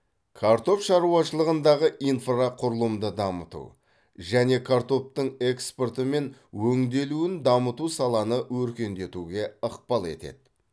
картоп шаруашылығындағы инфрақұрылымды дамыту және картоптың экспорты мен өңделуін дамыту саланы өркендетуге ықпал етеді